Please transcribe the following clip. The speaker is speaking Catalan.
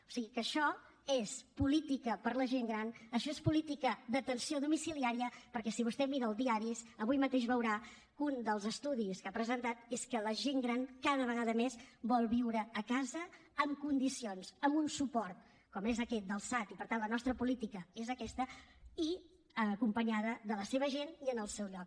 o sigui que això és política per a la gent gran això és política d’atenció domiciliària perquè si vostè mira els diaris avui mateix veurà que un dels estudis que s’ha presentat és que la gent gran cada vegada més vol viure a casa amb condicions amb un suport com és aquest del sad i per tant la nostra política és aquesta i acompanyada de la seva gent i en el seu lloc